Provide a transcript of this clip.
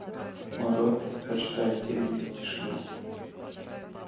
мой род предпочитает темень и тишину